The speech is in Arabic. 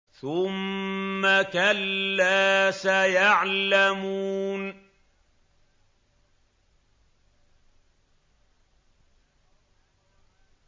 ثُمَّ كَلَّا سَيَعْلَمُونَ